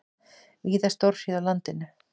Víða stórhríð á landinu